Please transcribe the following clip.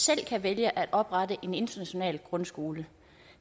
selv kan vælge at oprette en international grundskole